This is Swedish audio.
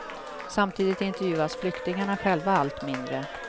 Samtidigt intervjuas flyktingarna själva allt mindre.